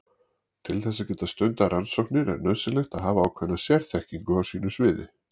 Til þess að geta stundað rannsóknir er nauðsynlegt að hafa ákveðna sérþekkingu á sínu sviði.